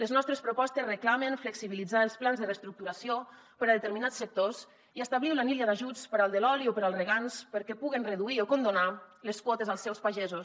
les nostres propostes reclamen flexibilitzar els plans de reestructuració per a determinats sectors i establir una línia d’ajuts per al de l’oli o per al regants perquè puguen reduir o condonar les quotes als seus pagesos